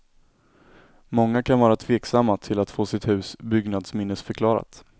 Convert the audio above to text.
Många kan vara tveksamma till att få sitt hus byggnadsminnesförklarat.